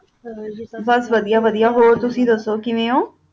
ਬੁਸ ਵੜਿਆ ਵੜਿਆ ਹੋਰ ਤੁਸੀਂ ਦਸੋ ਕਿਵਾ ਓਹੋ